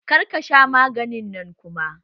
Kar ka sha maganin nan kuma!